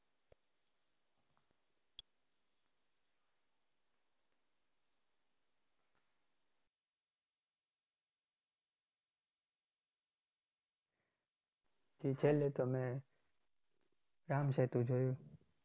છેલ્લે તો મેં રામસેતુ જોયું